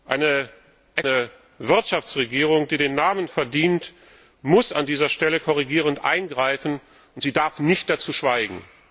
Eine eine Wirtschaftsregierung, die den Namen verdient, muss an dieser Stelle korrigierend eingreifen und darf nicht dazu schweigen.